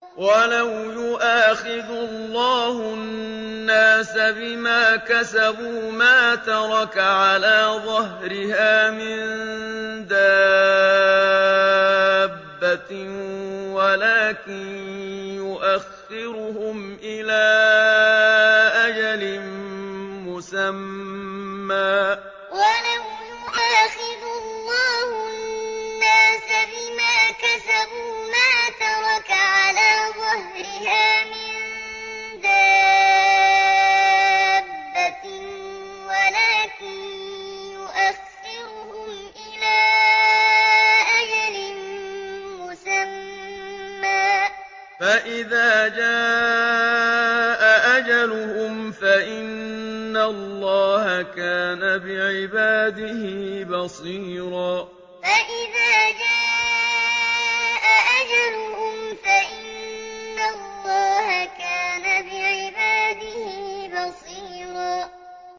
وَلَوْ يُؤَاخِذُ اللَّهُ النَّاسَ بِمَا كَسَبُوا مَا تَرَكَ عَلَىٰ ظَهْرِهَا مِن دَابَّةٍ وَلَٰكِن يُؤَخِّرُهُمْ إِلَىٰ أَجَلٍ مُّسَمًّى ۖ فَإِذَا جَاءَ أَجَلُهُمْ فَإِنَّ اللَّهَ كَانَ بِعِبَادِهِ بَصِيرًا وَلَوْ يُؤَاخِذُ اللَّهُ النَّاسَ بِمَا كَسَبُوا مَا تَرَكَ عَلَىٰ ظَهْرِهَا مِن دَابَّةٍ وَلَٰكِن يُؤَخِّرُهُمْ إِلَىٰ أَجَلٍ مُّسَمًّى ۖ فَإِذَا جَاءَ أَجَلُهُمْ فَإِنَّ اللَّهَ كَانَ بِعِبَادِهِ بَصِيرًا